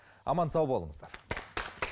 аман сау болыңыздар